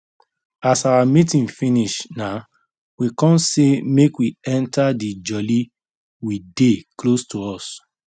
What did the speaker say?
as our meeting finish nah we con say make we enter the jolly we dey close to us